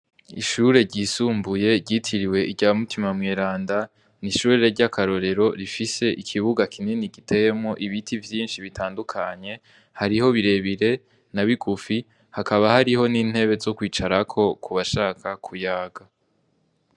Ishure ryisumbuye ryitiriwe irya mutima mweranda n'ishure ry'akarorero rifise ikibuga kinini gitemo ibiti vyinshi bitandukanye hariho birebire na bigufi hakaba hariho n'intebe zo kwicarako kubashaka kuyaga.